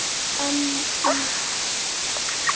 En í flestum tilfellum er gula ekki smitandi.